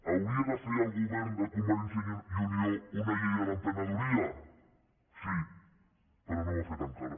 hauria de fer el govern de convergència i unió una llei de l’emprenedoria sí però no ho ha fet encara